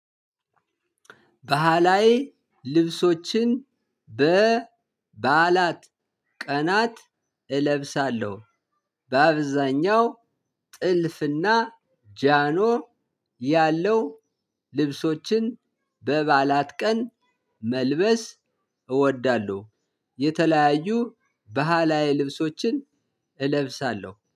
ባህላዊ ልብሶችን በበዓላት ቀናት እለብሳለሁ በአብዛኛው ጥልፍና ጃኖ ያለው ልብሶችን በባእላት ቀን መልበስ እወዳለሁ። የተለያዩ ባህላዊ ልብሶችን እለብሳለሁ